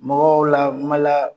Mɔgɔw la n mala.